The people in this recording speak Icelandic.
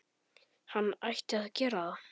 Hann ætti að gera það.